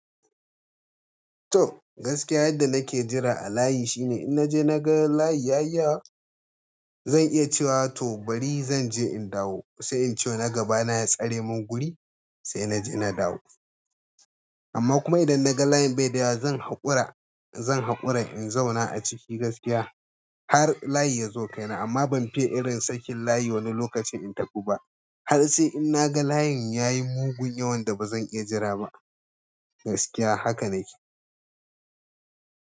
To gaskiya yadda nake jira a layi shine in naje naga layi ya yi yawa zan iya cewa tobari zanje in dawo sai in cewa na gaba na ya tsare min guri sai naje na dawo. Amma kuma idan naga layin bai da yawa zan haƙura, zan haƙura in zauna a ciki gaskiya har layi ya zo kaina amma ban fiya irin sakin layi wani lokacin in tafu ba. Har sai in naga layin ya yi mugun yawan da bazan iya jira ba gaskiya haka nake.